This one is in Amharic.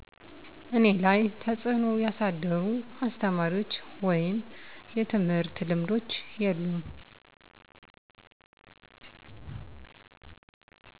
እኔ ላይ ተፅእኖ ያሳደሩ አስተማሪዎች ወይም የትምህርት ልምዶች የሉም